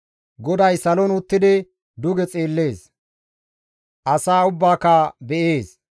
GODAY salon uttidi duge xeellees; asaa ubbaaka be7ees.